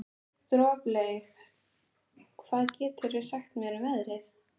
Droplaug, hvað geturðu sagt mér um veðrið?